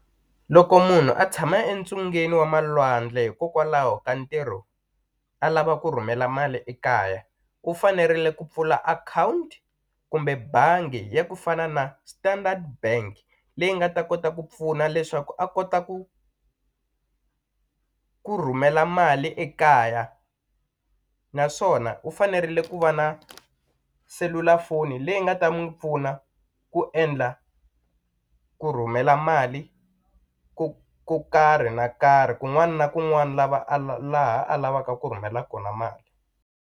Loko munhu a tshama entsungeni wa malwandle hikokwalaho ka ntirho a lava ku rhumela mali ekaya ku fanerile ku pfula akhawunti kumbe bangi ya ku fana na Standard Bank leyi nga ta kota ku pfuna leswaku a kota ku ku rhumela mali ekaya naswona u fanerile ku va na selulafoni leyi nga ta n'wi pfuna ku endla ku rhumela mali ku ku karhi na karhi kun'wana na kun'wana lava a laha a lavaka ku rhumela kona mali.